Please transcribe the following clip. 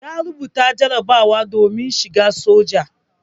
Ya rubuta jarabawa domin shigan soja.